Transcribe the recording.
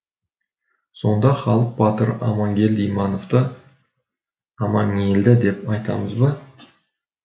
сонда халық батыры амангелді имановты амаңелді деп айтамыз ба